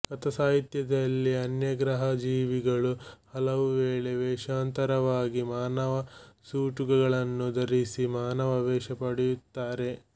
ಕಥಾಸಾಹಿತ್ಯದಲ್ಲಿ ಅನ್ಯಗ್ರಹಜೀವಿಗಳು ಹಲವುವೇಳೆ ವೇಷಾಂತರವಾಗಿ ಮಾನವ ಸೂಟುಗಳನ್ನು ಧರಿಸಿ ಮಾನವ ವೇಷ ಪಡೆಯುತ್ತಾರೆ